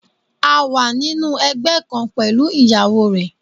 A wà nínú ẹgbẹ́ kan pẹ̀lú ìyàwó rẹ̀.